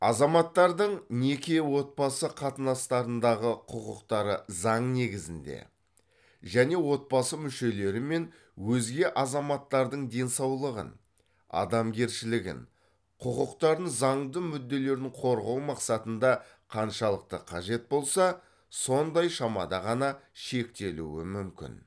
азаматтардың неке отбасы қатынастарындағы құқықтары заң негізінде және отбасы мүшелері мен өзге азаматтардың денсаулығын адамгершілігін құқықтарын заңды мүдделерін қорғау мақсатында қаншалықты қажет болса сондай шамада ғана шектелуі мүмкін